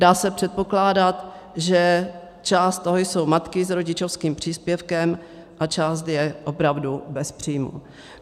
Dá se předpokládat, že část toho jsou matky s rodičovským příspěvkem a část je opravdu bez příjmu.